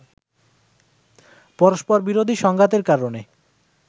পরস্পরবিরোধী সংঘাতের কারণে